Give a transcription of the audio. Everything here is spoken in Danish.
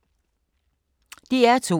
DR2